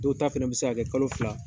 Dɔw ta fɛnɛ bi se ka kɛ kalo fila